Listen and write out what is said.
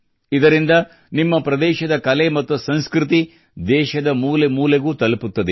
ಇದರಿಂದ ನಿಮ್ಮ ಪ್ರದೇಶದ ಕಲೆ ಮತ್ತು ಸಂಸ್ಕೃತಿ ದೇಶದ ಮೂಲೆ ಮೂಲೆಗೂ ತಲುಪುತ್ತದೆ